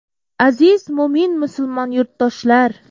Aziz mo‘min-musulmon yurtdoshlar!